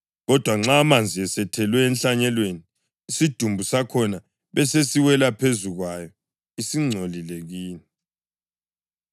Kodwa nxa amanzi esethelwe enhlanyelweni, isidumbu sakhona besesiwela phezu kwayo, isingcolile kini.